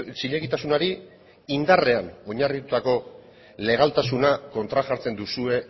zilegitasunari indarrean oinarritutako legaltasuna kontrajartzen duzue